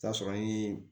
Tasuma ye